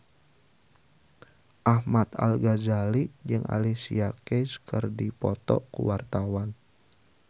Ahmad Al-Ghazali jeung Alicia Keys keur dipoto ku wartawan